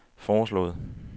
foreslået